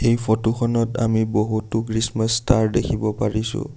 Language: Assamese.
এই ফটো খনত আমি বহুতো খ্ৰীষ্টমাছ ষ্টাৰ দেখিব পাৰিছোঁ।